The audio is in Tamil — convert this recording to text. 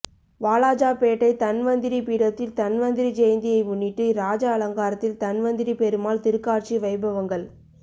வாலாஜாபேட்டை தன்வந்திரி பீடத்தில் தன்வந்திரிஜெயந்தியை முன்னிட்டு இராஜ அலங்காரத்தில் தன்வந்திரி பெருமாள் திருக்காட்சி வைபவங்கள்